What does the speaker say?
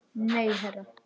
Nei, herra